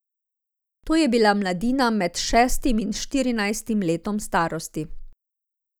To je bila mladina med šestim in štirinajstim letom starosti.